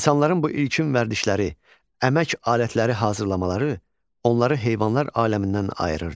İnsanların bu ilkin vərdişləri, əmək alətləri hazırlamaları onları heyvanlar aləmindən ayırırdı.